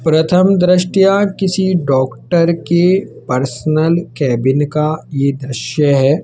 प्रथम दृष्टया किसी डॉक्टर के पर्सनल केबिन का ये दृश्य है।